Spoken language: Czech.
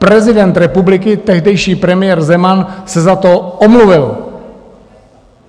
Prezident republiky, tehdejší premiér Zeman, se za to omluvil.